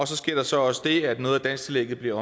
så sker der så også det at noget af dansktillægget bliver